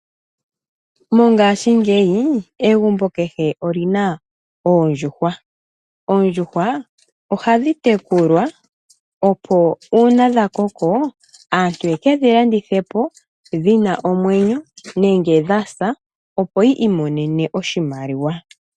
Mongashingeyi egumbo kehe oli na oondjuhwa . Oondjuhwa ohadhi tekulwa, opo uuna dha koko aantu ye ke dhi landithe po dhi na omwenyo nenge dha sa opo yi imonene oshimaliwa.